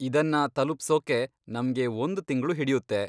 ಇದನ್ನ ತಲುಪ್ಸೋಕೆ ನಮ್ಗೆ ಒಂದ್ ತಿಂಗ್ಳು ಹಿಡ್ಯುತ್ತೆ.